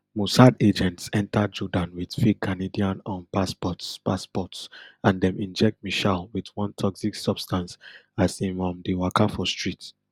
mossad agents enta jordan wit fake canadian um passports passports and dem inject meshaal wit one toxic substance as im um de waka for street